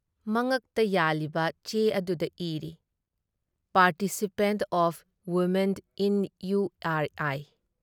ꯃꯉꯛꯇ ꯌꯥꯜꯂꯤꯕ, ꯆꯦ ꯑꯗꯨꯗ ꯏꯔꯤ "participation of women in U R I".